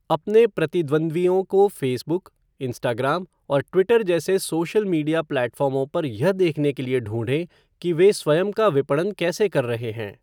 अपने प्रतिद्वंद्वियों को फ़ेसबुक, इंस्टाग्राम और ट्विटर जैसे सोशल मीडिया प्लेटफ़ार्मों पर यह देखने के लिए ढूंढें कि वे स्वयं का विपणन कैसे कर रहे हैं।